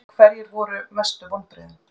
Hverjir eru mestu vonbrigðin?